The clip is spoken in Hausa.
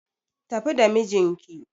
Tafi da mijinki